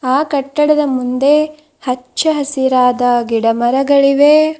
ಆ ಕಟ್ಟಡದ ಮುಂದೆ ಹಚ್ಚ ಹಸಿರಾದ ಗಿಡ ಮರಗಳಿವೆ.